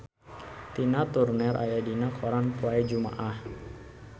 Tina Turner aya dina koran poe Jumaah